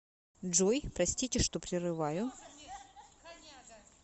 джой простите что прерываю